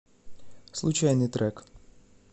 случайный трек